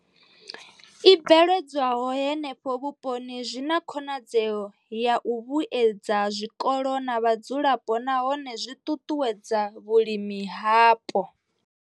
I bveledzwaho henefho vhuponi zwi na khonadzeo ya u vhuedza zwikolo na vhadzulapo nahone zwi ṱuṱuwedza vhulimi hapo.